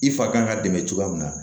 I fa kan ka dɛmɛ cogoya min na